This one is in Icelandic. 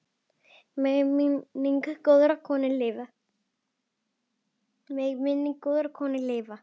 Megi minning góðrar konu lifa.